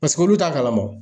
Paseke olu t'a kalama wo.